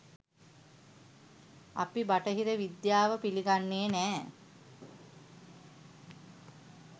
අපි බටහිර විද්‍යාව පිළි ගන්නෙ නෑ